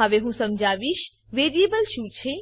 હવે હું સમજાવીશ વેરિએબલ શું છે